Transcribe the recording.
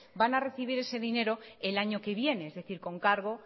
van a recibir ese dinero el año que viene es decir con cargo